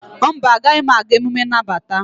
mba, agaghị m aga emume nnabata.